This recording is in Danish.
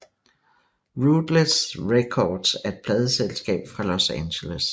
Ruthless Records er et pladeselskab fra Los Angeles